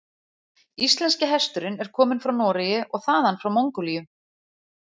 Íslenski hesturinn er kominn frá Noregi og þaðan frá Mongólíu.